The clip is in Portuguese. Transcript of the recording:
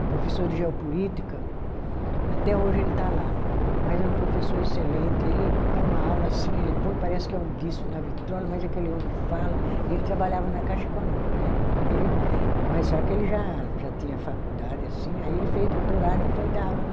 O professor de geopolítica, até hoje ele está lá, mas é um professor excelente, ele dá uma aula assim, ele põe, parece que é um disco na vitrola, mas aquele homem fala, e ele trabalhava na Caixa Econômica né, aí ele, mas só que ele já tinha faculdade assim, aí ele fez doutorado e foi dar aula na